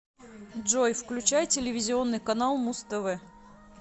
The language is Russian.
джой включай телевизионный канал муз тв